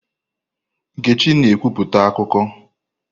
Nkechi na ekwupụta akụkọ.